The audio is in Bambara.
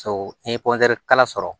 So n'i ye kala sɔrɔ